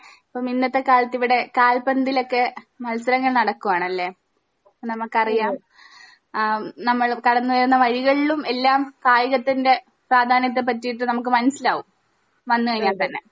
അപ്പൊ ഇന്നത്തെ കാലത്ത് ഇവിടെ കാൽപന്തിലൊക്കെ മത്സരങ്ങൾ നടക്കുവാണല്ലേ ഇപ്പൊ നമ്മുക്കറിയാം ആ നമ്മൾ കടന്ന് ചെന്ന വഴികളിലും എല്ലാം കായികത്തിന്റെ പ്രാധാന്യത്തെ പറ്റിട്ട് നമ്മുക്ക് മനസിലാവും വന്ന് കഴിഞ്ഞ തന്നെ